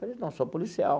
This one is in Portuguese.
Falei, não, sou policial.